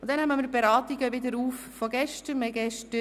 Wir nehmen die Beratungen von gestern wieder auf.